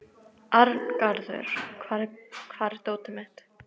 Arngarður, hvar er dótið mitt?